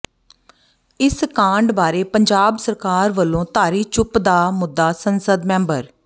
ਇਸ ਕਾਂਡ ਬਾਰੇ ਪੰਜਾਬ ਸਰਕਾਰ ਵੱਲੋਂ ਧਾਰੀ ਚੁੱਪ ਦਾ ਮੁੱਦਾ ਸੰਸਦ ਮੈਂਬਰ ਡਾ